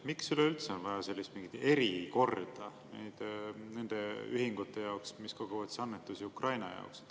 Miks üldse on vaja mingit erikorda nende ühingute jaoks, mis koguvad annetusi Ukraina jaoks?